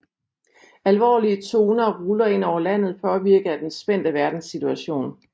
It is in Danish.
Alvorlige toner ruller ind over landet påvirket af den spændte verdenssituation